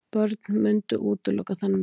Börn mundu útiloka þann möguleika.